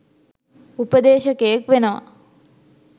උපදේශකයෙක් වෙනවා.